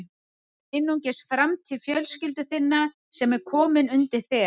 Það er einungis framtíð fjölskyldu þinnar sem er komin undir þér.